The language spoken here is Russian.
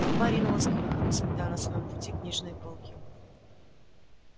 толпа ринулась к выходу сметая на своём пути книжные полки